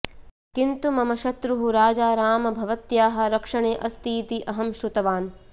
किन्तु मम शत्रुः राजारामः भवत्याः रक्षणे अस्तीति अहं श्रुतवान्